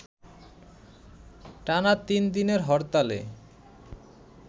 টানা তিন দিনের হরতালে